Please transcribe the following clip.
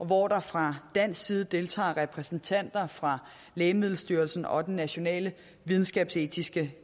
hvor der fra dansk side deltager repræsentanter fra lægemiddelstyrelsen og den nationale videnskabsetiske